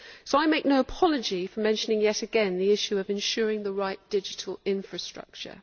So I make no apology for mentioning yet again the issue of ensuring the right digital infrastructure.